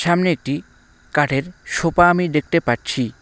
সামনে একটি কাঠের সোপা আমি দেখতে পাচ্ছি।